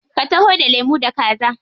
Ka taho da lemu da kaza.